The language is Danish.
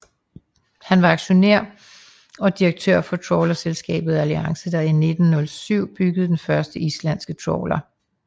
Han var aktionær i og direktør for trawlerselskabet Alliance der 1907 byggede den første islandske trawler